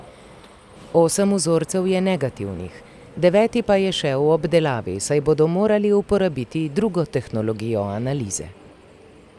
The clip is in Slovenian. Osem vzorcev je negativnih, deveti pa je še v obdelavi, saj bodo morali uporabiti drugo tehnologijo analize.